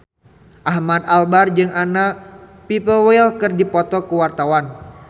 Ahmad Albar jeung Anna Popplewell keur dipoto ku wartawan